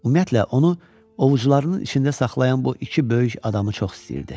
Ümumiyyətlə, onu ovucularının içində saxlayan bu iki böyük adamı çox istəyirdi.